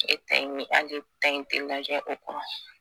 E ta in hali e ta in ti lajɛ o kɔnɔ